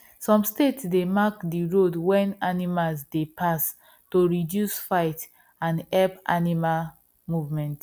some state they mark the road when animals dey pass to reduce fight and help animal movement